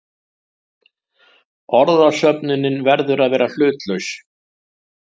Orðasöfnunin verður að vera hlutlaus.